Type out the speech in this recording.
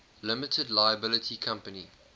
limited liability company